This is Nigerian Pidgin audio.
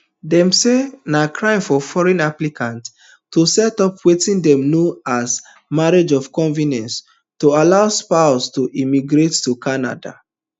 dem say na crime for foreign applicant to set up wetin dem know as marriage of convenience to allow spouse to immigrate to canada